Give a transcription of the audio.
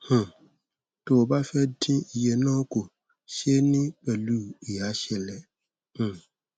um tó o bá fẹ dín iye náà kù ṣe é ní pẹlú ìyàsẹlẹ um